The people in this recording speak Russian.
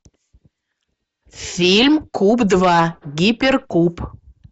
фильм куб два гиперкуб